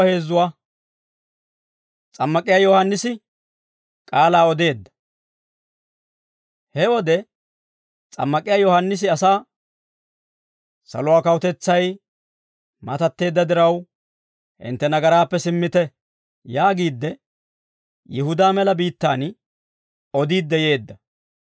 He wode S'ammak'iyaa Yohaannisi asaa, «Saluwaa kawutetsay matatteedda diraw, hintte nagaraappe simmite» yaagiidde, Yihudaa mela biittaan odiidde yeedda.